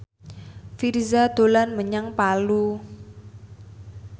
Virzha dolan menyang Palu